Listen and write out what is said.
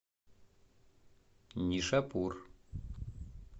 нишапур